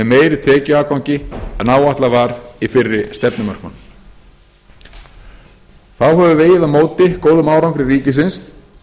meiri tekjuafgangi en áætlað var í fyrri stefnumörkun þá hefur vegið á móti góðum árangri ríkisins